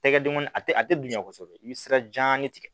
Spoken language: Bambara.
Tɛgɛ dengɔn a tɛ a tɛ bonya kosɛbɛ i bɛ sira janni tigɛ